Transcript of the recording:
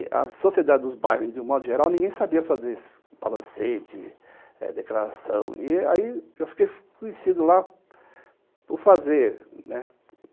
E a sociedade dos bairros, de um modo geral, ninguém sabia fazer esses balancetes, declaração, e aí eu fiquei conhecido lá por fazer, né?